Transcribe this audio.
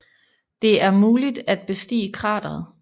Det er muligt at bestige krateret